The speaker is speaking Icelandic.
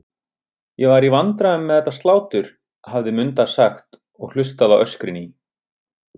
Ég var í vandræðum með þetta slátur, hafði Munda sagt og hlustað á öskrin í